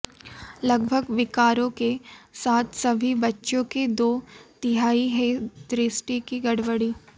लगभग विकारों के साथ सभी बच्चों के दो तिहाई हैं दृष्टि की गड़बड़ी